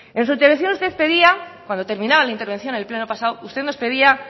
en su intervención usted pedía cuando terminada la intervención en el pleno pasado usted nos pedía